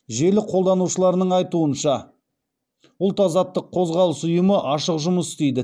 жел қолданушыларының айтуынша ұлт азаттық қозғалыс ұйымы ашық жұмыс істейді